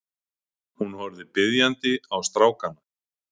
Hún horfði biðjandi á strákana.